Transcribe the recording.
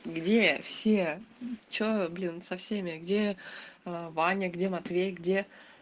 где все что блин со всеми где ваня где матвей где